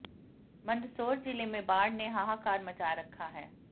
मंदसौर ज़िले में बाढ़ ने हाहाकार मचा रखा है